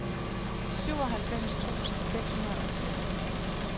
syvoghalvfems tusind seks hundrede og firs